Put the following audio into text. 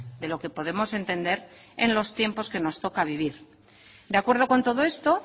de lo que podemos entender en los tiempos que nos toca vivir de acuerdo con todo esto